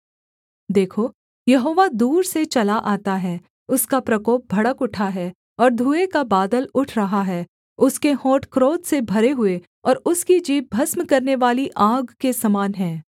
देखो यहोवा दूर से चला आता है उसका प्रकोप भड़क उठा है और धुएँ का बादल उठ रहा है उसके होंठ क्रोध से भरे हुए और उसकी जीभ भस्म करनेवाली आग के समान है